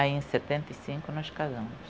Aí em setenta e cinco nós casamos.